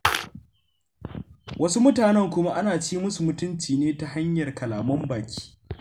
Wasu mutanen kuma ana ci musu mutunci ne ta hanyar kalaman baki.